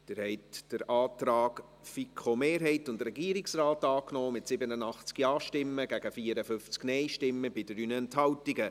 Sie haben den Antrag der FiKo-Mehrheit und des Regierungsrates, angenommen mit 87 Ja- gegen 54 Nein-Stimmen bei 3 Enthaltungen.